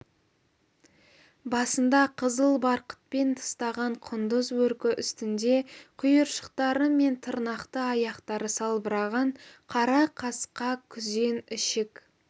басында қызыл барқытпен тыстаған құндыз бөркі үстінде құйыршықтары мен тырнақты аяқтары салбыраған қара қасқа күзен ішік